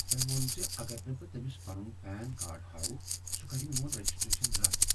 تمہِ ووٚن ز اگر نہٕ بہٕ تمِس پنٗن پین کارڈ ہاوٕ، سۄ کرِ میٚون رجسٹریشن رد ۔